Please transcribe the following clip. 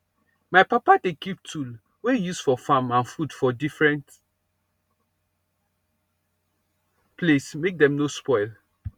my papa dey keep tool wey he use for farm and food for different place make dem no spoil